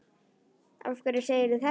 Af hverju segirðu þetta?